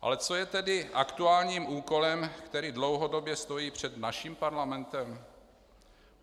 Ale co je tedy aktuálním úkolem, který dlouhodobě stojí před naším parlamentem?